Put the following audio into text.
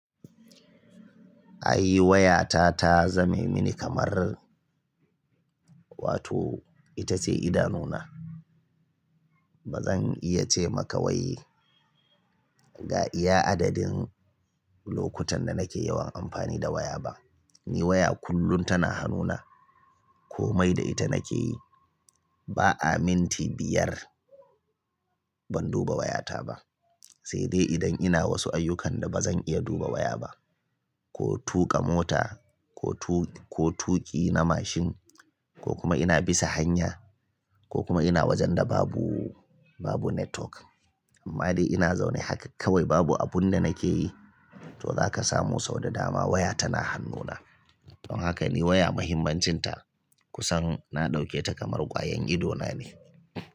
Ai waya ta ta zame mini kamar, wato ita ce idanuna. Ba zan iya ce maka wai ga iya adadin lokutan da nake yawan amfani da waya ba. Ni waya kullun tana hannuna. Komai da ita nake yi. Ba a minti biyar ban duba wayata ba. Sai dai idan ina wasu ayyukan da ba zan iya duba waya ba, ko tuƙa mota, ko tuƙi na mashin, ko kuma ina bisa hanya, ko kuma ina wajen da babu, babu network. Amma dai ina zaune haka kawai babu abun da nake yi to za ka samu sau da dama waya tana hannuna. Don haka ni waya mahimmancinta kusan na ɗauke ta kamar kwayan ido na ne.